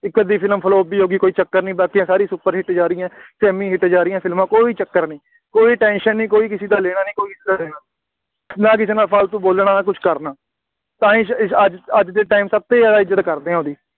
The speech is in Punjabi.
ਇੱਕ ਅੱਧੀ ਫਿਲਮ flop ਵੀ ਹੋ ਗਈ, ਕੋਈ ਚੱਕਰ ਨਹੀਂ, ਬਾਕੀਆਂ ਸਾਰੀਆਂ super hit ਜਾ ਰਹੀਆਂ, semi hit ਜਾ ਰਹੀਆਂ, ਫਿਲਮਾਂ ਕੋਈ ਚੱਕਰ ਨਹੀਂ, ਕੋਈ tension ਨਹੀਂ, ਕੋਈ ਕਿਸੇ ਦਾ ਲੈਣਾ ਨਹੀਂ, ਕੋਈ ਕਿਸੇ ਦਾ ਦੇਣਾ ਨਹੀਂ, ਨਾ ਕਿਸੇ ਨਾਲ ਫਾਲਤੂ ਬੋਲਣਾ, ਕੁੱਝ ਕਰਨਾ, ਤਾਂ ਇਸ ਇਸ ਅੱਜ ਅੱਜ ਦੇ time ਸਭ ਤੋਂ ਜ਼ਿਆਦਾ ਇੱਜ਼ਤ ਕਰਦੇ ਹਾਂ ਉਹਦੀ,